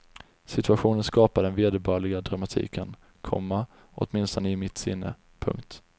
Situationen skapar den vederbörliga dramatiken, komma åtminstone i mitt sinne. punkt